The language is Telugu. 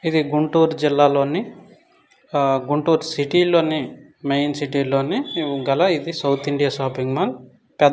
ఇది గుంటూరు జిల్లా లోని గుంటూరు సిటీ లోనే మెయిన్ సిటీ లోనే గల ఇది సౌత్ ఇండియా షాపింగ్ మాల్.